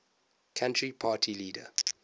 country party leader